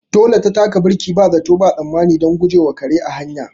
Dole na taka birki ba zato ba tsammani don guje wa kare a hanya.